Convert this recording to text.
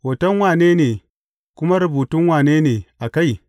Hoton wane ne, kuma rubutun wane ne a kai?